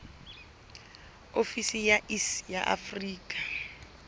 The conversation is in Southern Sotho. ofisi ya iss ya afrika